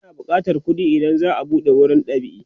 ana bukatan kuɗi idan za'a buɗe wurin dab'i